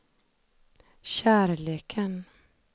kärleken